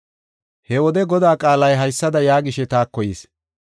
He wode Godaa qaalay haysada yaagishe taako yis;